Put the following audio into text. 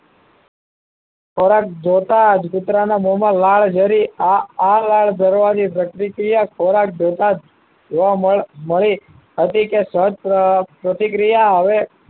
ખોરાક જોતા જ કુતરાના મોમાં લાળ જરી આ લાળ જરવાની પ્રતિક્રિયા ખોરાક જોતા જ જોવા મળે મળી હતી સત પ્રતિક્રિયા હવે